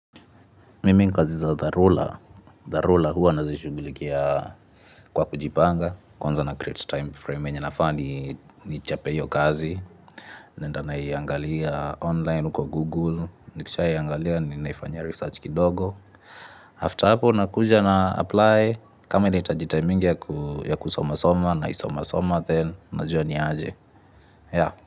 Mimi kazi za dharura, hua nazishugulikia kwa kujipanga, kwanza na create time frame enya nafaa nichape iyo kazi. Naenda naiangalia online kwa Google, nikishaiangalia nafanya research kidogo. After hapo nakuja na apply, kama ina hitaji time mingi ya kusoma soma naisoma soma then, na jua niaje.